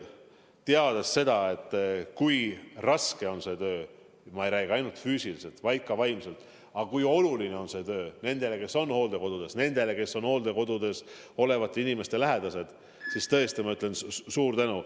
Teades seda, kui raske on see töö – ja mitte ainult füüsiliselt, vaid ka vaimselt –, samas kui oluline on see töö nendele, kes on hooldekodudes, nendele, kes on hooldekodudes olevate inimeste lähedased, ma ütlen neile suur tänu.